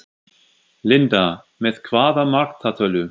Linda: Með hvaða markatölu?